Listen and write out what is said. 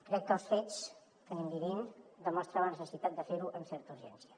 crec que els fets que anem vivint demostren la necessitat de fer ho amb certa urgència